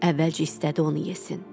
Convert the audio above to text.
Əvvəlcə istədi onu yesin.